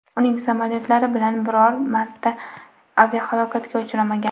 Uning samolyotlari bilan biror marta aviahalokatga uchramagan.